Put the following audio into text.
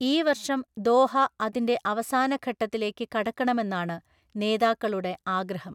ഈ വർഷം ദോഹ അതിന്റെ അവസാന ഘട്ടത്തിലേക്ക് കടക്കണമെന്നാണ് നേതാക്കളുടെ ആഗ്രഹം.